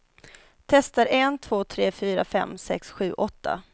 Testar en två tre fyra fem sex sju åtta.